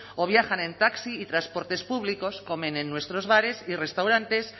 o viajan en taxi y transportes públicos comen en nuestros bares y restaurantes